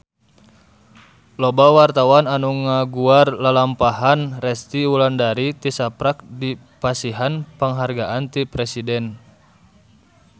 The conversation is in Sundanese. Loba wartawan anu ngaguar lalampahan Resty Wulandari tisaprak dipasihan panghargaan ti Presiden